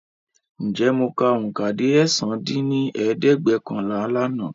Ǹjẹ́ mọ ka oùnkà dé ẹ̀sán dín ní ẹ̀ẹ́dẹ́gbẹ́ọ̀kànlá lànà?